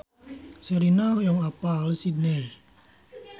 Sherina hoyong apal Sydney